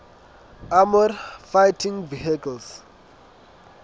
armoured fighting vehicles